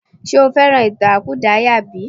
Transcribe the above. Ǹjẹ́ o fẹ́ràn ìtàn àkúdàáyà bí?